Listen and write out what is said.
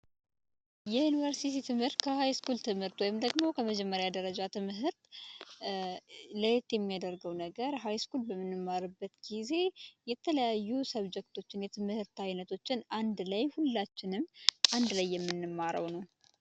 የዩንቨርሲትይ ትህምርት፤ ከሃይስኩል ትህምርት ዎይም መጀመርያ ሁለተኛ ደረጃ ለየት የምያደርገው ሃይስኩል በምንማርበት ጊዘ የተለያየ ትህምርት አይነቶችን አንድ ላይ ሁላችህንም አንዲ ላይ የምንማረው